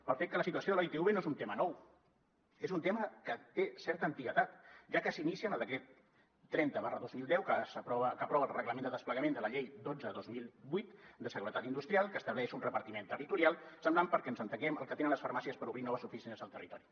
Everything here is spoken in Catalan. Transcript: pel fet que la situació de la itv no és un tema nou és un tema que té certa antiguitat ja que s’inicia en el decret trenta dos mil deu que aprova el reglament de desplegament de la llei dotze dos mil vuit de seguretat industrial que estableix un repartiment territorial semblant perquè ens entenguem al que tenen les farmàcies per obrir noves oficines al territori